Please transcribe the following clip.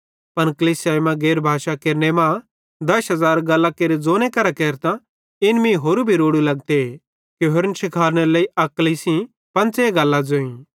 पन कलीसियाई मां गैर भाषा केरने मां दश हज़ार गल्लां केरे ज़ोनेरे केरतां इन मीं होरू भी रोड़ू लगते कि होरन शिखालनेरे लेइ अक्ली सेइं पंच़े गल्लां ज़ोईं